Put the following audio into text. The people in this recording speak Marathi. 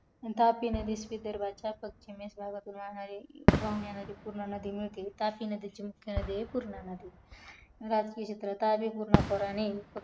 तापी नदी ही विदर्भाच्या पश्चिमेकडून वाहणारी नदी पूर्णा मिळते तापी नदी ची मुख्य नदी आहे ती पुर्ण नदी